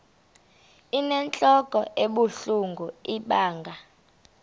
inentlok ebuhlungu ibanga